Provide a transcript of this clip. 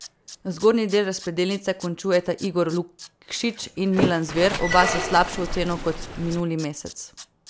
Zgornji del razpredelnice končujeta Igor Lukšič in Milan Zver, oba s slabšo oceno kot minuli mesec.